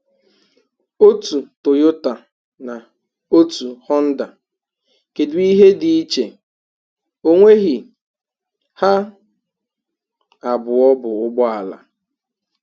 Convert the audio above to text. Otú Toyota na otu Honda, kedụ ihe dị iche, onweghi! Ha abụọ bụ ụgbọala